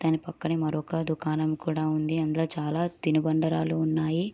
దాని పక్కనే మరిఒక దుకాణం కూడా ఉంది ఇందిలో చాలా తినుబండారాలు ఉన్నాయి